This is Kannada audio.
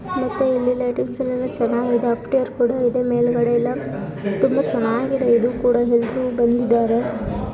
ಮತ್ತೆ ಇಲ್ಲಿ ಲೈಟಿಂಗ್ಸ್ ಎಲ್ಲ ಚೆನ್ನಾಗಿದೆ ಆಫ್ಟಿಯರ್ ಕೂಡ ಇದೆ ಮೇಲ್ಗಡೆ ಎಲ್ಲ ತುಂಬಾ ಚೆನ್ನಾಗಿದೆ. ಇದು ಕೂಡ ಹಿಂದೆ ಬಂದು--